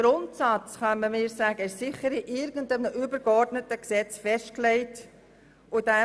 Sicher kann man mir sagen, dass dieser Grundsatz irgendwo in einem übergeordneten Gesetz festgelegt ist.